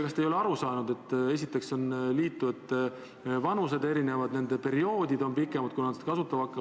Kas te ei ole aru saanud, et ka liitujate vanused on erinevad, nooremate kogumisperioodid on pikemad?